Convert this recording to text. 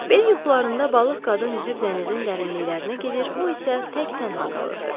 Belə yuxularında balıq qadın üzüb dənizin dərinliklərinə gedir, o isə tək-tənha qalırdı.